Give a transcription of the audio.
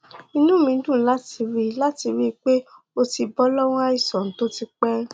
inú mi dùn láti rí láti rí i pé o ti bọ lọwọ àìsàn tó ti pẹ